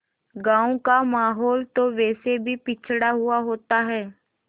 गाँव का माहौल तो वैसे भी पिछड़ा हुआ होता है